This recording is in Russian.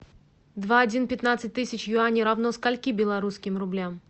два один пятнадцать тысяч юаней равно скольки белорусским рублям